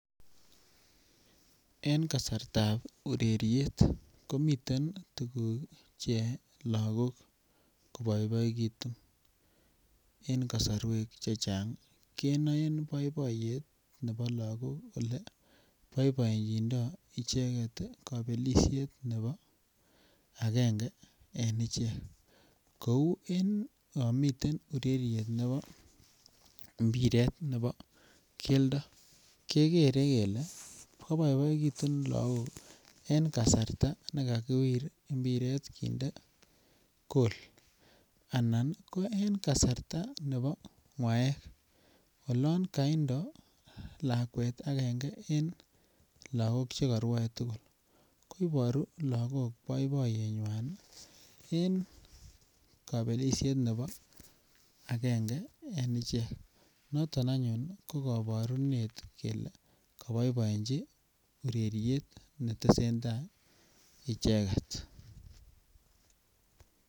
En kasartab ureriet ko miten tuguk cheyoe lagok koboiboitun. En kasaruek che chang kenoen boiboiyet nebo lagok oleboiboenjindo icheget kabelisiet nebo agenge en ichek. Kou en yonmiten ureriet nebo imbiret nebo keldo, kegere kele koboiboegitun lagok eng kasarta ne kakiwir imbiret kinde gol anan ko en kasarta nebo ngwaek olon kaindo lakwet agenge en lagok che karue tugul koibaru lagok boiboiyenywan en kabelisiet nebo agenge en ichek. Noton anyun ko, kabarunet kele koboiboenji ureriet ne tesenda icheget.